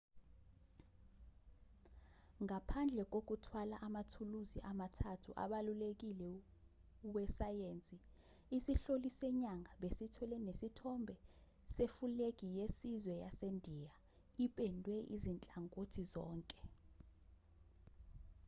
ngaphandle kokuthwala amathuluzi amathathu abalulekile wesayensi isihloli senyanga besithwele nesithombe sefulegi yesizwe yasendiya ipendwe ezinhlangothini zonke